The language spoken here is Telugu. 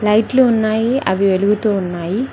లైట్లు ఉన్నాయి అవి వెలుగుతూ ఉన్నాయి.